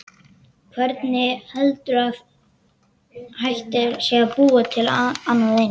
Hvernig heldurðu að hægt sé að búa til annað eins?